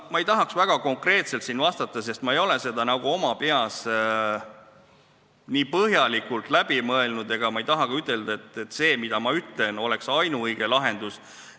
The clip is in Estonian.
Ma ei tahaks väga konkreetselt vastata, sest ma ei ole seda nii põhjalikult läbi mõelnud, ja ma ei taha ka ütelda, et see, mis mina ütlen, on ainuõige lahendus.